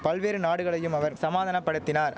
பல்வேறு நாடுகளையும் அவர் சமாதானபடுத்தினார்